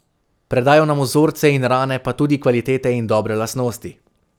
Predajo nam vzorce in rane pa tudi kvalitete in dobre lastnosti.